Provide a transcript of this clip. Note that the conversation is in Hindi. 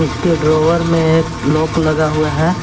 उसके ड्रॉअर में एक लॉक लगा हुआ है।